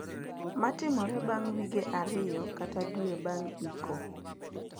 Matimore bang` wige ariyo kata dwe bang` iko.